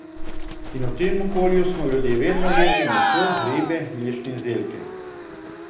In v tem okolju smo ljudje vedno jedli meso, ribe, mlečne izdelke.